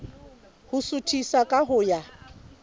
ho suthisa ka ho ya